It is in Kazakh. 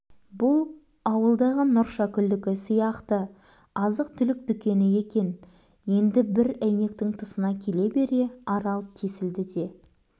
бұл ауылдағы нұршакүлдікі сияқты азық-түлік дүкені екен енді бір әйнектің тұсына келе бере арал тесілді де